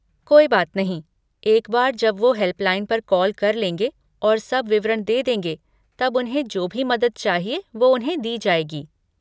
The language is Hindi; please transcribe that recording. कोई बात नहीं, एक बार जब वो हेल्पलाइन पर कॉल कर लेंगे और सब विवरण दे देंगे, तब उन्हें जो भी मदद चाहिए वो उन्हें दी जाएगी।